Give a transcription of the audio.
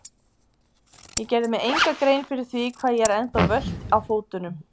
Ég gerði mér enga grein fyrir því hvað ég er ennþá völt á fótunum.